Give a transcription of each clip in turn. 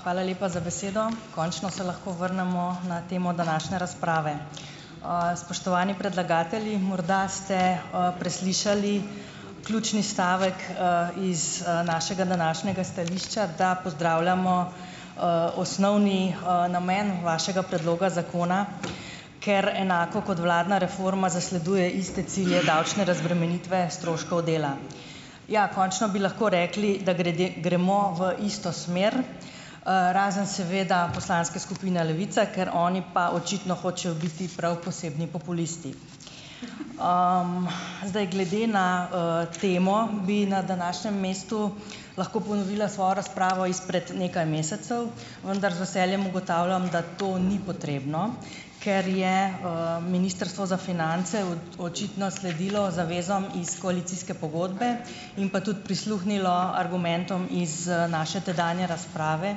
Hvala lepa za besedo. Končno se lahko vrnemo na temo današnje razprave. Spoštovani predlagatelji, morda ste, preslišali ključni stavek, iz, našega današnjega stališča, da pozdravljamo, osnovni, namen vašega predloga zakona, ker enako kot vladna reforma zasleduje iste cilje davčne razbremenitve stroškov dela. Ja, končno bi lahko rekli, da grede gremo v isto smer, razen seveda poslanske skupine Levica, ker oni pa očitno hočejo biti prav posebni populisti. Zdaj, glede na, temo bi na današnjem mestu lahko ponovila svojo razpravo izpred nekaj mesecev, vendar z veseljem ugotavljam, da to ni potrebno, ker je, Ministrstvo za finance očitno sledilo zavezam iz koalicijske pogodbe in pa tudi prisluhnilo argumentom iz naše tedanje razprave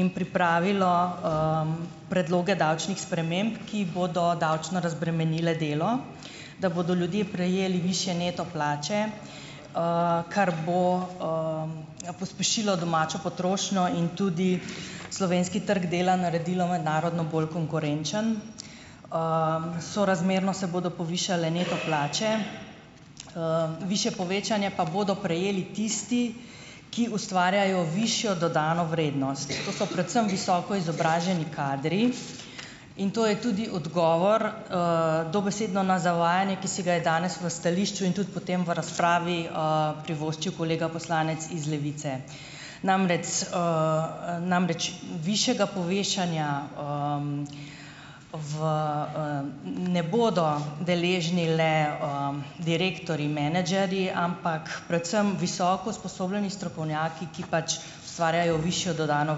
in pripravilo, predloge davčnih sprememb, ki bodo davčno razbremenile delo, da bodo ljudje prejeli višje neto plače, kar bo, pospešilo domačo potrošnjo in tudi slovenski trg dela naredilo mednarodno bolj konkurenčen. Sorazmerno se bodo povišale neto plače , višje povečanje pa bodo prejeli tisti, ki ustvarjajo višjo dodano vrednost. To so predvsem visoko izobraženi kadri in to je tudi odgovor, dobesedno na zavajanje, ki si ga je danes v stališču in tudi potem v razpravi, privoščil kolega poslanec iz Levice, namrec, namreč višjega povečanja, v, ne bodo deležni le, direktorji, menedžerji, ampak predvsem visoko usposobljeni strokovnjaki, ki pač ustvarjajo višjo dodano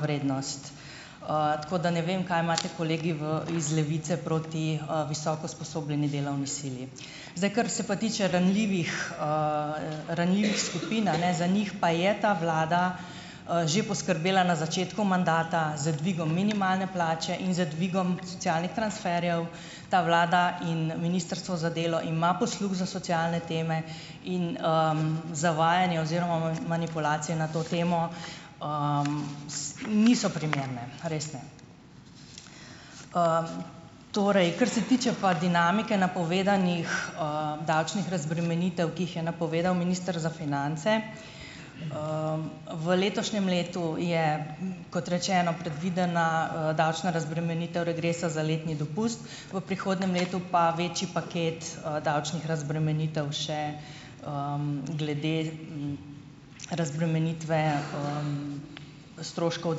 vrednost. Tako da ne vem, kaj imate kolegi v iz Levice proti, visoko usposobljeni delovni sili. Zdaj, kar se pa tiče ranljivih, ranljivih skupin, a ne , za njih pa je ta vlada, že poskrbela na začetku mandata z dvigom minimalne plače in z dvigom socialnih transferjev. Ta vlada in Ministrstvo za delo ima posluh za socialne teme in, zavajanje oziroma manipulacije na to temo, niso primerne, res ne. Torej, kar se tiče pa dinamike napovedanih, davčnih razbremenitev, ki jih je napovedal minister za finance, v letošnjem letu je, kot rečeno, predvidena, davčna razbremenitev regresa za letni dopust, v prihodnjem letu pa več paket, davčnih razbremenitev še, glede, razbremenitve, stroškov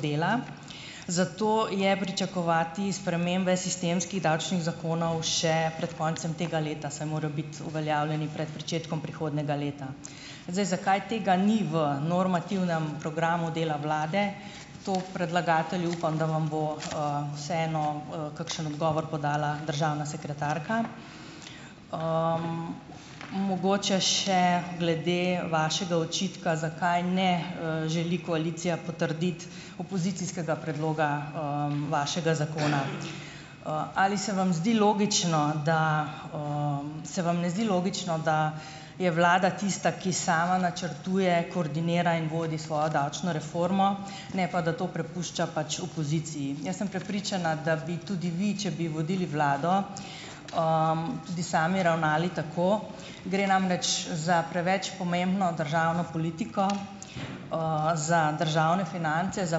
dela. Zato je pričakovati spremembe sistemskih davčnih zakonov še pred koncem tega leta, saj morajo biti uveljavljeni pred pričetkom prihodnjega leta. Zdaj, zakaj tega ni v normativnem programu dela vlade, to, predlagatelji, upam, da vam bo, vseeno, kakšen odgovor podala državna sekretarka. Mogoče še glede vašega očitka, zakaj ne, želi koalicija potrditi opozicijskega predloga, vašega zakona. Ali se vam zdi logično, da. Se vam ne zdi logično, da je Vlada tista, ki sama načrtuje, koordinira in vodi svojo davčno reformo, ne pa da to prepušča pač opoziciji? Jaz sem prepričana, da bi tudi vi, če bi vodili vlado, tudi sami ravnali tako. Gre namreč za preveč pomembno državno politiko, za državne finance, za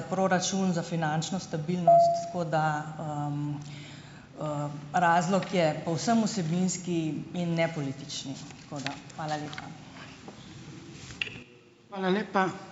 proračun, za finančno stabilnost, tako da, razlog je povsem vsebinski in ne politični. Tako da hvala lepa.